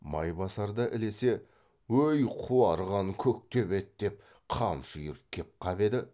майбасар да ілесе өй қуарған көктөбет деп қамшы үйіріп кеп қап еді